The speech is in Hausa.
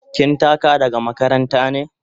Kin taka daga makaranta ne?